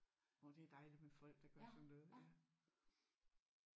Åh det er dejligt med folk der gør sådan noget ja